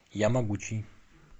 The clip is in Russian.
ямогучий